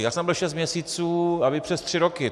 Já jsem tam byl šest měsíců a vy přes tři roky.